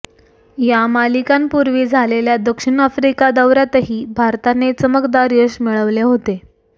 या मालिकांपूर्वी झालेल्या दक्षिण आफ्रिका दौऱयातही भारताने चमकदार यश मिळविले होते